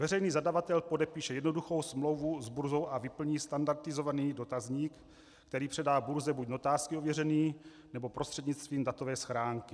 Veřejný zadavatel podepíše jednoduchou smlouvu s burzou a vyplní standardizovaný dotazník, který předá burze buď notářsky ověřený, nebo prostřednictvím datové schránky.